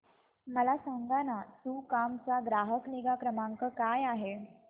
मला सांगाना सुकाम चा ग्राहक निगा क्रमांक काय आहे